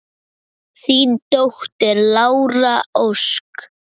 Þín dóttir, Lára Ósk.